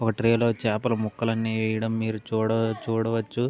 ఒక ట్రే లో చాపల ముక్కలు అన్ని వెయ్యడం మీరు చూడవచ్చు.